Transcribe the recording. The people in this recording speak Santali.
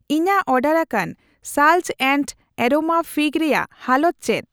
ᱤᱧᱟᱜ ᱚᱰᱟᱨ ᱟᱠᱟᱱ ᱥᱟᱞᱡᱽ ᱮᱱᱰ ᱮᱨᱳᱢᱟ ᱯᱷᱤᱜ ᱨᱮᱭᱟᱜ ᱦᱟᱞᱚᱛ ᱪᱮᱫ ?